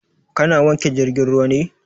Ka na wanke jirgin ruwa ne?